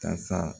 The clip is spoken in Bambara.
Kasa